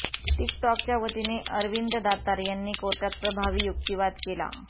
tick टॉकच्यावतीने अरविंद दातार यांनी कोर्टात प्रभावी युक्तिवाद केला